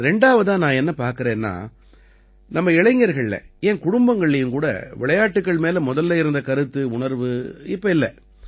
ரெண்டாவதா நான் என்ன பார்க்கறேன்னா நம்ம இளைஞர்கள்ல ஏன் குடும்பங்கள்லயும் கூட விளையாட்டுக்கள் மேல முதல்ல இருந்த கருத்து உணர்வு இப்ப இல்லை